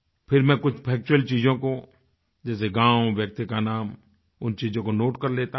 फिर मैं कुछ फैक्चुअल चीज़ों को जैसे गाँव व्यक्ति का नाम उन चीज़ों को नोट कर लेता हूँ